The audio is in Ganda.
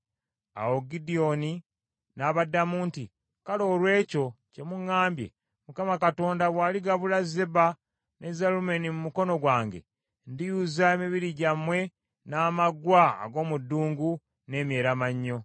Awo Gidyoni n’abaddamu nti, “Kale olw’ekyo kye muŋŋambye, Mukama Katonda bw’aligabula Zeba ne Zalumunna mu mukono gwange, ndiyuza emibiri gyammwe n’amaggwa ag’omu ddungu n’emyeramannyo.”